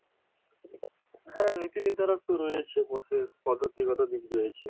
হ্যাঁ নীতিনির্ধারক তো রয়েছে বটে পদ্ধতিগত দিক রয়েছে